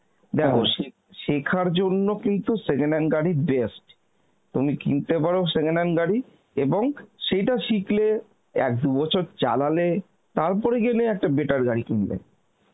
শেখার জন্য কিন্তু second hand গাড়ি best, তুমি কিনতে পারো second hand গাড়ি এবং সেইটা শিখলে এক দু বছর চালালে তারপরে গিয়ে নয় একটা better গাড়ি কিনলে